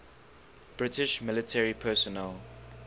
british military personnel